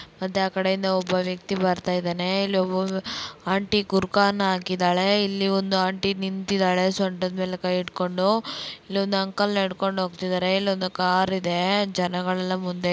ಮತ್ತೆ ಆಕಡೆ ಇಂದ ಒಬ್ಬ ವ್ಯಕ್ತಿ ಬರ್ತಾ ಇದ್ದಾನೆ ಇಲ್ಲಿ ಒಬ್ಬ ಆಂಟೀ ಬುರ್ಖಾನ ಹಾಕಿದಳೆ ಇಲ್ಲಿ ಒಂದು ಆಂಟೀ ನಿಂತಿದ್ದಾಳೆ ಸೊಂಟದ್ ಮೇಲೆ ಕೈಇಟ್ಟುಕೊಂಡು ಇಲ್ಲೊಂದು ಅಂಕಲ್ ನಡ್ಕೊಂಡು ಹೋಗ್ತಿದ್ದಾರೆ ಇಲ್ಲೊಂದು ಕಾರ್ ಇದೆ ಜನಗಳ್ಳೆಲ್ಲಾ ಮುಂದೆ --